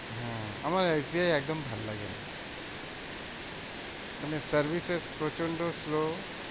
হম আমার S B I একদম ভালো লাগে না। মানে services প্রচন্ড slow